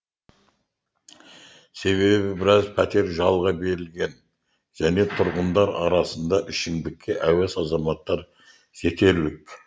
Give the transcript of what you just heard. себебі біраз пәтер жалға берілген және тұрғындар арасында ішімдікке әуес азаматтар жетерлік